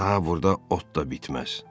Daha burda ot da bitməz.